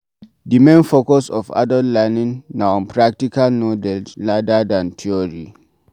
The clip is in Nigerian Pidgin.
The main focus of adult learning na on practical knowledge rather than theory